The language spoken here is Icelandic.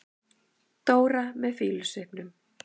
Dóra með fýlusvipnum.